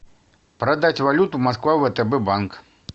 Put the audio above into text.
продать валюту москва втб банк